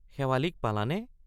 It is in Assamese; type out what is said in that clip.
শেৱালিক পালানে?